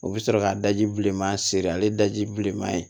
U bɛ sɔrɔ ka daji bilenman seri ale daji bilenman ye